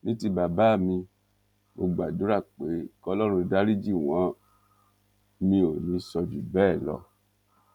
ní ti bàbá mi mo gbàdúrà pé kọlọrun dariji wọn mi ò ní í sọ jù bẹẹ lọ